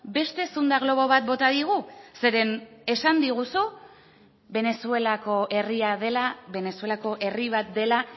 beste zunda globo bat bota digu zeren esan diguzu venezuelako herria dela venezuelako herri bat dela